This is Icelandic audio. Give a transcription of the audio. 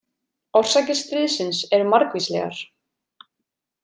Orsakir stríðsins eru margvíslegar.